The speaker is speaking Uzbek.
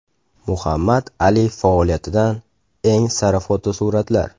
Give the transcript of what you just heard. Muhammad Ali faoliyatidan eng sara fotosuratlar.